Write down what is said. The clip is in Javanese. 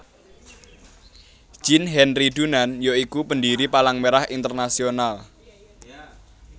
Jean Henry Dunant ya iku pendiri Palang Merah Internasional